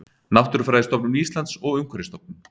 Náttúrufræðistofnun Íslands og Umhverfisstofnun.